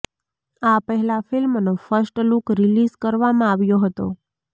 આ પહેલા ફિલ્મનો ફસ્ટ લુક રિલીઝ કરવામાં આવ્યો હતો